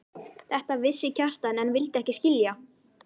Þetta vissi Kjartan en vildi ekki skilja.